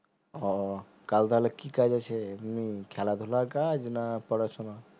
ও কাল তাহলে কি কাজ আছেএমনি খেলাধুলার কাজ না পড়াশুনা